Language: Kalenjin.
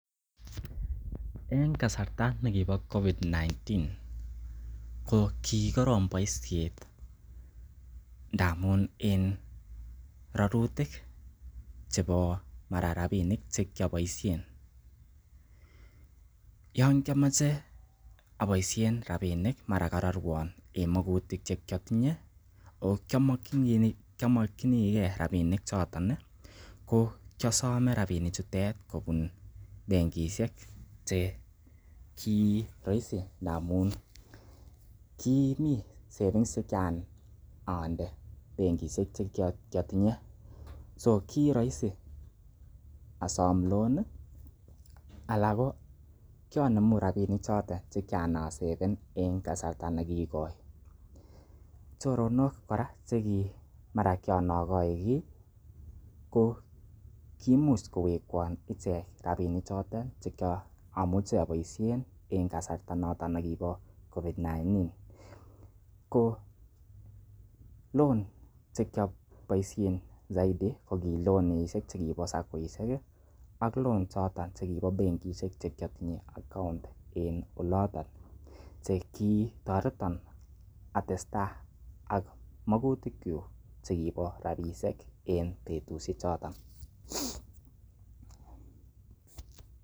En kasarta nekibo covid-19 ko koroomboisiet ndamun en rorutik mara ko chebo rabishek che kioboisien yon kiamoche baoisien rabinik mara kororwon en magutik che kiatinye, ago kiamokinige rabinik choton ii, ko kiiosome rabinik choton kobun benkishek cheki roisi ndamaun kimi savings che kiran onde benkishek che ki otinye, so ki roisi asom loan anan ko kianemu rabinik choto che kiran asaven en kasarta nekoi. Choronok kora che ki mara kiran ogoi kiy ko kimuch kowekwon ichek rabinik chotet che kyomuchi aboishen en kasarta noton nebo covid-19 . Ko loan che kioboisien soiti ko ki loanishek che kibo saccoishek ak loan choto che kibo benkishek che kiotinye account en oloton che kitoreton atestai ak magutik kyuk che kibo rabishek en betiushek choto.